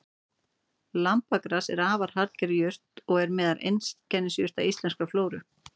Lambagras er afar harðger jurt og er meðal einkennisjurta íslenskrar flóru.